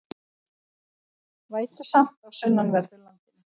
Vætusamt á sunnanverðu landinu